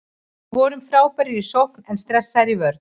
Við vorum frábærir í sókn en stressaðir í vörn.